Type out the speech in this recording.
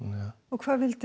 hvað vildu